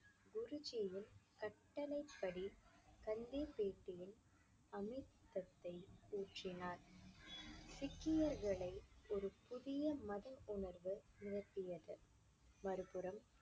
குருஜியின் கட்டளைப்படி கன்னிப்பேட்டியின் அமிர்தத்தை ஊற்றினார். சீக்கியர்களை ஒரு புதிய மத உணர்வு நிகழ்த்தியது மறுபுறம்